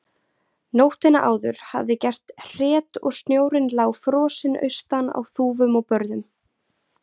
Nóttina áður hafði gert hret og snjórinn lá frosinn austan á þúfum og börðum.